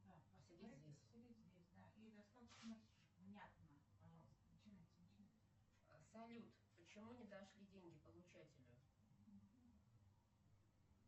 салют почему не дошли деньги получателю